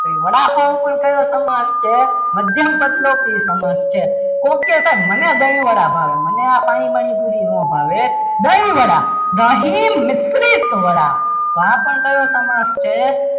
તો એ વડાપાવ પણ કયો સમાસ છે મધ્યમપદલોપી સમાસ છે કોક કે મને દહીં વડા ભાવે મને આ પાણી બાણી પૂરી ના ભાવે દહીં વડા દહીં મિશ્રિત વડા તો આ પણ કયો સમાસ છે.